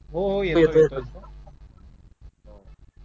हो हो येतोय येतोय